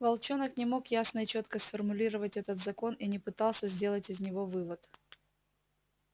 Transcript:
волчонок не мог ясно и чётко сформулировать этот закон и не пытался сделать из него вывод